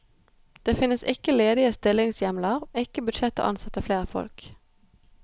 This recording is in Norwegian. Det finnes ikke ledige stillingshjemler, ikke budsjett til å ansette flere folk.